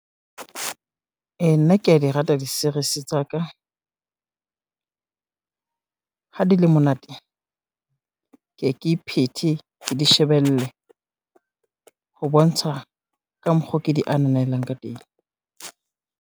E nna kea di rata di-series tsa ka. Ha di le monate, ke ye ke iphethe ke di shebelle, ho bontsha ka mokgo ke di ananelang ka teng.